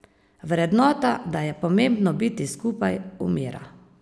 Vrednota, da je pomembno biti skupaj, umira.